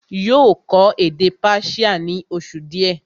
yóò kọ́ èdè Persia ní oṣù díẹ̀